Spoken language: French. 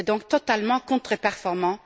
C'est donc totalement contre performant.